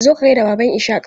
Zo ka gaida Baban Ishaq!